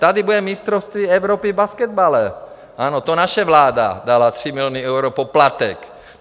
Tady bude mistrovství Evropy v basketbalu, ano, to naše vláda dala 3 miliony eur poplatek.